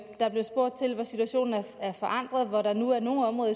der blev spurgt til hvor situationen er forandret og hvor der nu er nogle områder